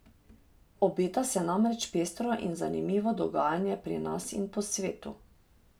Obeta se namreč pestro in zanimivo dogajanje pri nas in po svetu.